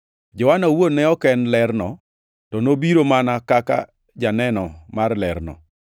Johana owuon ne ok en ler nogo, to nobiro mana kaka janeno mar lerno.